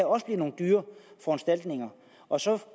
også blive nogle dyre foranstaltninger og så